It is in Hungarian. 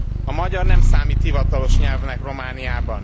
A magyar nem számít hivatalos nyelvnek Romániában.